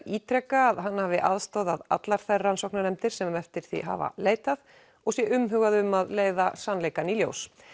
ítreka að hann hafi aðstoðað allar þær rannsóknarnefndir sem eftir því hafa leitað og sé umhugað um að leiða sannleikann í ljós